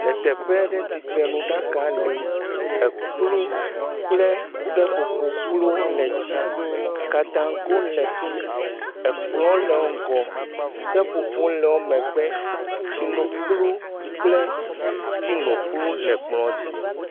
Le teƒe aɖe tsitrenu ɖaka le, ekplu kple seƒoƒo kplu le dzi, kadaŋgo le fi mi, kplɔ le wo ŋgɔ, seƒoƒoƒo le emegbe tsino kplu kple teano kplu le kplɔ dzi.